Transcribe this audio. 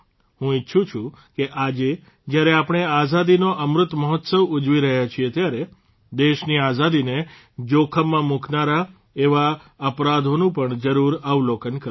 હું ઇચ્છું છું કે આજે જયારે આપણે આઝાદીનો અમૃત મહોત્સવ ઉજવી રહ્યા છીએ ત્યારે દેશની આઝાદીને જોખમમાં મૂકનારા એવા અપરાધોનું પણ જરૂર અવલોકન કરો